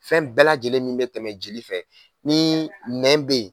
Fɛn bɛɛ lajɛlen min bɛ tɛmɛ jeli fɛ ni nɛn bɛ yen